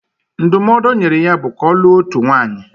Ndụmọdụ o nyere ya bụ ka ọ lụọ otu nwaanyị